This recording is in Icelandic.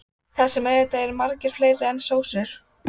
Berghildur Erla Bernharðsdóttir: Er það hægt?